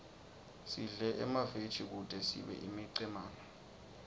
sidle emaveji kute sibe imicemane